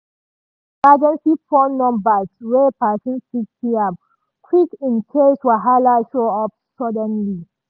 she keep emergency phone numbers where person fit see am quick in case wahala show up suddenly.